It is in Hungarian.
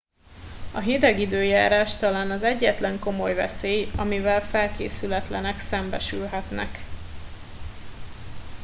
a hideg időjárás talán az egyetlen komoly veszély amivel felkészületlenek szembesülhetnek